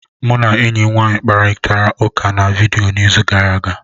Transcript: Mụ na enyi m nwaanyị kparịtara ụka na vidiyo n'izu gara aga.